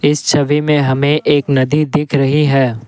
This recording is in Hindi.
इस छवि में हमें एक नदी दिख रही है।